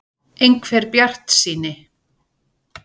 . einhver bjartsýni.